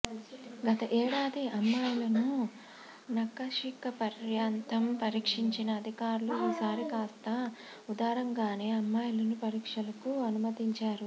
గత ఏడాది అమ్మాయిలను నఖశిఖపర్యాంతం పరీక్షించిన అధికారులు ఈసారి కాస్తా ఉదారంగానే అమ్మాయిలను పరీక్షలకు అనుమతించారు